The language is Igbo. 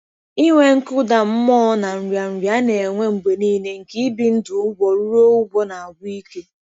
Inwe nkụda mmụọ na nrịanrịa a na-enwe mgbe nile nke ibi ndụ ụgwọruo ụgwọ na-agwụ ike.